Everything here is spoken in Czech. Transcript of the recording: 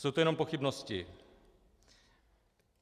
Jsou to jenom pochybnosti.